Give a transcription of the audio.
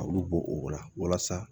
A y'olu bɔ o la walasa